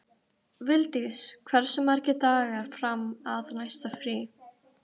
Vildís, hversu margir dagar fram að næsta fríi?